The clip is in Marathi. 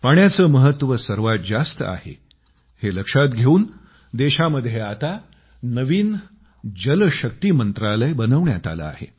पाण्याचं महत्व सर्वात जास्त आहे हे लक्षात घेवून देशामध्ये आता नवीन जलशक्ती मंत्रालय बनवण्यात आलं आहे